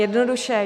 Jednoduše -